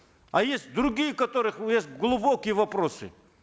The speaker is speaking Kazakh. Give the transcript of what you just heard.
а есть другие у которых есть глубокие вопросы